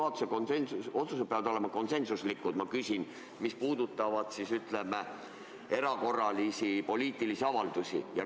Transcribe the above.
Kas kõik juhatuse otsused peavad olema konsensuslikud, kui need puudutavad erakorralisi poliitilisi avaldusi?